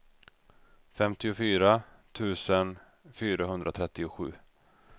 femtiofyra tusen fyrahundratrettiosju